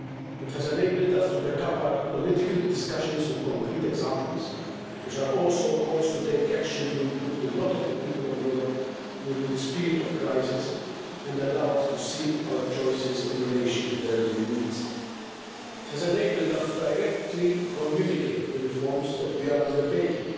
It has enabled us to back up our political discussions with concrete examples, which are also calls to take action to improve the lot of the people of Europe during this period of crisis and allow us to see our choices in relation to their real needs. It has enabled us to directly communicate the reforms that we are undertaking.